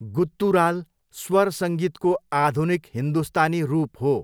Guttural स्वर सङ्गीतको आधुनिक हिन्दुस्तानी रूप हो।